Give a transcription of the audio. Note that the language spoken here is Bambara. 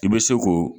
I bɛ se k'o